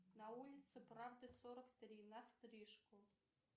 на улице правды сорок три на стрижку